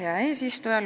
Hea eesistuja!